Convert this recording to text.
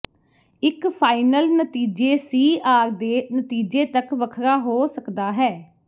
ਇੱਕ ਫਾਈਨਲ ਨਤੀਜੇ C R ਦੇ ਨਤੀਜੇ ਤੱਕ ਵੱਖਰਾ ਹੋ ਸਕਦਾ ਹੈ